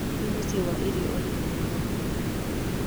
nĩ mũciĩ wa irio ũrĩkũ mwega mũno wĩ hakuhĩ?